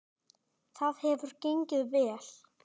Það hefur gengið vel.